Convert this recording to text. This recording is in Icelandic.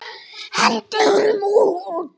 Hendið honum út!